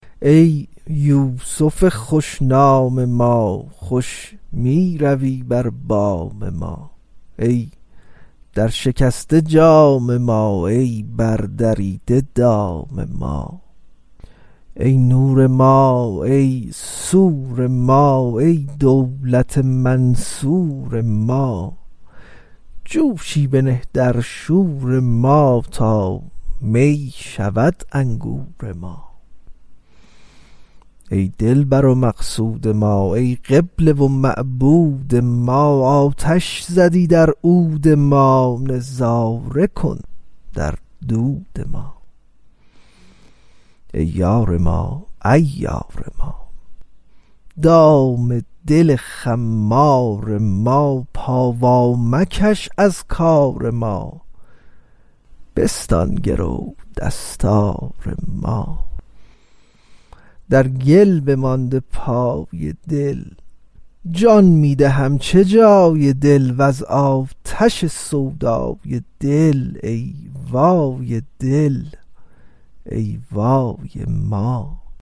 ای یوسف خوش نام ما خوش می روی بر بام ما ای درشکسته جام ما ای بردریده دام ما ای نور ما ای سور ما ای دولت منصور ما جوشی بنه در شور ما تا می شود انگور ما ای دلبر و مقصود ما ای قبله و معبود ما آتش زدی در عود ما نظاره کن در دود ما ای یار ما عیار ما دام دل خمار ما پا وامکش از کار ما بستان گرو دستار ما در گل بمانده پای دل جان می دهم چه جای دل وز آتش سودای دل ای وای دل ای وای ما